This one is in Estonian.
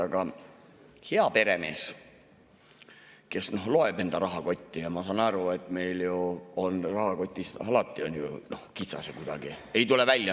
Aga hea peremees loeb enda raha – ma saan aru, et meil on ju rahakotis alati kitsas ja kuidagi ei tule välja.